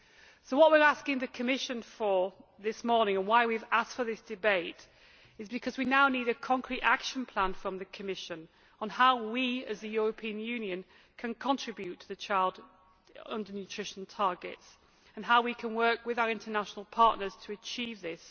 So what we are asking the Commission for this morning, and why we have asked for this debate, is because we now need a concrete action plan from the Commission on how we, as the European Union, can contribute to the child undernutrition targets, and how we can work with our international partners to achieve this.